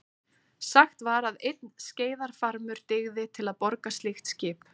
Sagt var að einn skreiðarfarmur dygði til að borga slíkt skip.